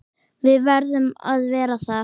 Við verðum að vera þar.